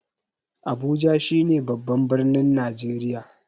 Abuja shi ne babban birnin Najreriya